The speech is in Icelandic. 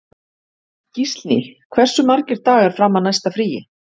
Gíslný, hversu margir dagar fram að næsta fríi?